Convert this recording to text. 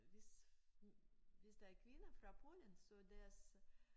Hvis hvis der er kvinder fra Polen så deres